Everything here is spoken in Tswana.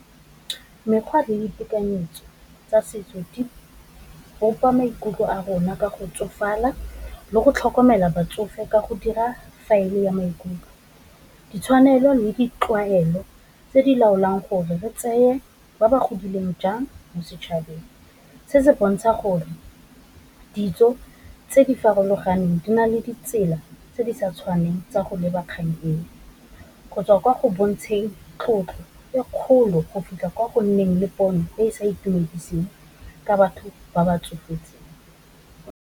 Mekgwa le ditekanyetso tsa setso di bopa maikutlo a rona ka go tsofala, le go tlhokomela batsofe ka go dira faele ya maikutlo, ditshwanelo le ditlwaelo tse di laolang gore re tseye ba ba godileng jang mo setšhabeng, se se bontsha gore ditso tse di farologaneng di na le ditsela tse di sa tshwaneng tsa go leba kgang, gotswa kwa go bontshang tlotlo e kgolo go fitlha kwa go nneng le pono e sa itumediseng ka batho ba ba tsofetseng.